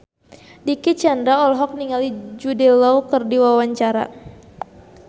Dicky Chandra olohok ningali Jude Law keur diwawancara